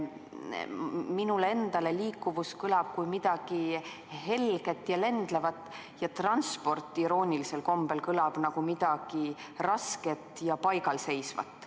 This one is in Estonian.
Minul endal seostub "liikuvus" millegi helge ja lendlevaga, aga "transport" iroonilisel kombel kõlab nagu midagi rasket ja paigalseisvat.